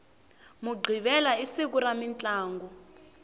mughivela i siku ra mintlangu